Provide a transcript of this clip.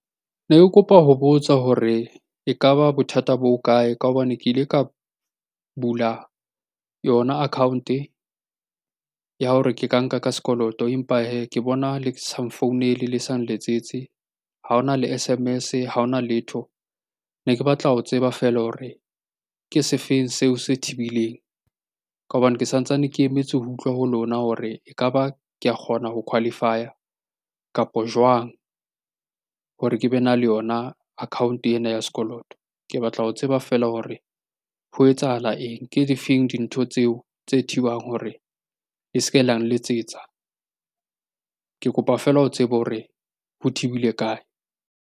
Ne ke kopa ho botsa hore e ka ba bothata bo hokae? Ka hobane ke ile ka bula yona account-e ya hore ke ka nka ka sekoloto. Empa hee ke bona le sa nfounele, le sa nletsetse, ha hona le S_M_S-e, ha ona letho. Ne ke batla ho tseba feela hore ke se feng seo se thibileng? Ka hobane ke sa ntsane ke emetse ho utlwa ho lona hore e ka ba ke a kgona ho qualify-a, kapo jwang hore ke be na le yona account-e ena ya sekoloto. Ke batla ho tseba feela hore ho etsahala eng? Ke difeng dintho tseo tse thibang hore le se ke la nletsetsa? Ke kopa feela ho tseba hore ho thibile kae?